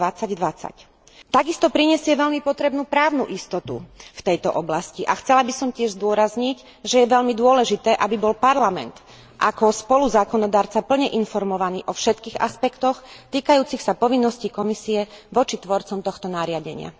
2020. Takisto prinesie veľmi potrebnú právnu istotu v tejto oblasti a chcela by som tiež zdôrazniť, že je veľmi dôležité, aby bol Parlament ako spoluzákonodarca plne informovaný o všetkých aspektoch týkajúcich sa povinností Komisie voči tvorcom tohto nariadenia.